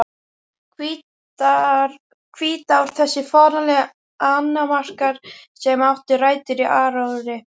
Hvítár Þessir fáránlegu annmarkar, sem áttu rætur í áróðri